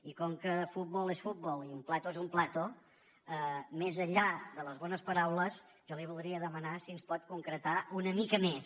i com que fútbol es fútbol i un plato es un plato més enllà de les bones paraules jo li voldria demanar si ens pot concretar una mica més